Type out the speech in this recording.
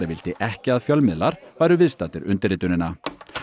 vildi ekki að fjölmiðlar væru viðstaddir undirritunina